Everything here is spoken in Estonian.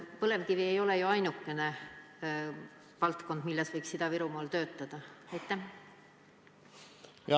Põlevkivitööstus ei ole ju ainuke valdkond, milles Ida-Virumaal töötada!